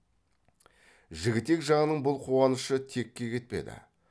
жігітек жағының бұл қуанышы текке кетпеді